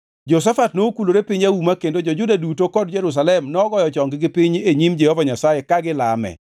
Jehoshafat nokulore piny auma kendo jo-Juda duto kod Jerusalem nogoyo chonggi piny e nyim Jehova Nyasaye ka gilame.